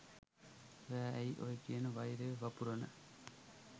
ඔයා ඇයි ඔය කියන වෛරය වපුරන